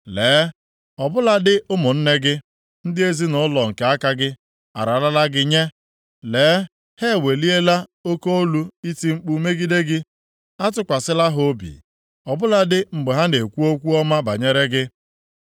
Lee, ọ bụladị ụmụnne gị, ndị ezinaụlọ nke aka gị, ararala gị nye. Lee, ha eweliela oke olu iti mkpu megide gị. Atụkwasịla ha obi, ọ bụladị mgbe ha na-ekwu okwu ọma banyere gị.